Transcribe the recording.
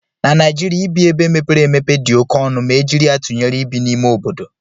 Na Naịjirịa, ibi ebe mepere emepe dị oke ọnụ ma e jiri ya tụnyere ibi n'ime obodo